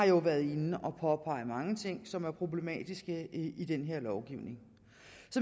jo har været inde og påpege mange ting som har været problematisk i den her lovgivning